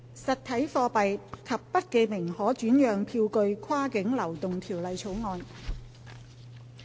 《實體貨幣及不記名可轉讓票據跨境流動條例草案》。